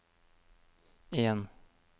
en